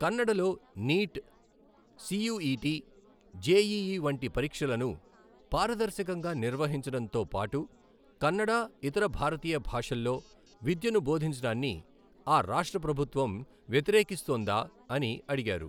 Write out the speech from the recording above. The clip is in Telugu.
కన్నడలో నీట్, సీయూఈటీ, జేఈఈ వంటి పరీక్షలను పారదర్శకంగా నిర్వహించడంతో పాటు కన్నడ, ఇతర భారతీయ భాషల్లో విద్యను బోధించడాన్ని ఆ రాష్ట్ర ప్రభుత్వం వ్యతిరేకిస్తోందా అని అడిగారు.